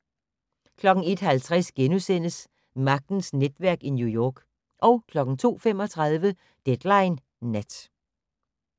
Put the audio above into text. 01:50: Magtens netværk i New York * 02:35: Deadline Nat